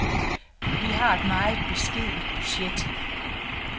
Vi har et meget beskedent budget.